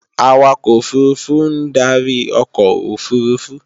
Awakọ̀ òfurufú ń darí ọkọ̀ òfurufú